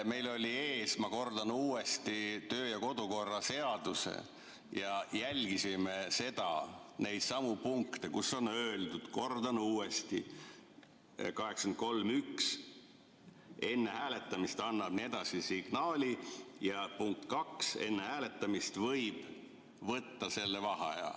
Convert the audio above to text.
Meil oli ees, ma kordan uuesti, kodukorraseadus ja me jälgisime seal neidsamu punkte, kus on öeldud, kordan uuesti, § 83 punkt 1, et enne hääletamist annab signaali, ja punkt 2, et enne hääletamist võib võtta vaheaja.